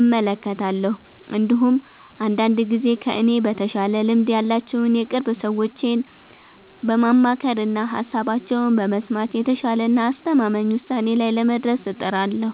እመለከታለሁ። እንዲሁም አንዳንድ ጊዜ ከእኔ በተሻለ ልምድ ያላቸውን የቅርብ ሰዎቼን በማማከርና ሃሳባቸውን በመስማት የተሻለና አስተማማኝ ውሳኔ ላይ ለመድረስ እጥራለሁ።